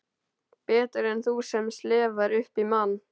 Betur en þú sem slefar upp í mann.